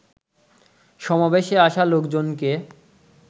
সমাবেশে আসা লোকজনকে